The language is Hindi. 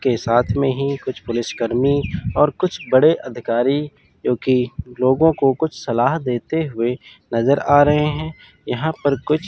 के साथ में ही कुछ पुलिसकर्मी और कुछ बड़े अधिकारी जोकि लोगों को कुछ सलाह देते हुए नजर आ रहे हैं यहां पर कुछ--